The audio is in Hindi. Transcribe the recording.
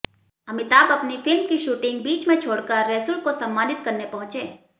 अमिताभ अपनी फ़िल्म की शूटिंग बीच में छोड़कर रेसुल को सम्मानित करने पहुँचे